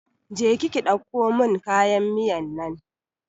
Je ki ki ɗauko mun kayan miyan nan!